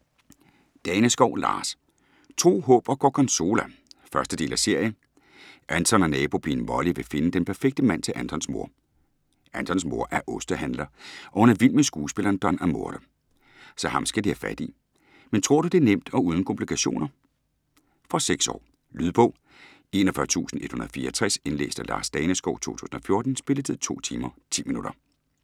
Daneskov, Lars: Tro, håb og gorgonzola 1. del af serie. Anton og nabopigen Molly vil finde den perfekte mand til Antons mor. Antons mor er ostehandler, og hun er vild med skuespilleren Don Amore. Så ham skal de have fat i. Men tror du, det er nemt og uden komplikationer? Fra 6 år. Lydbog 41164 Indlæst af Lars Daneskov, 2014. Spilletid: 2 timer, 10 minutter.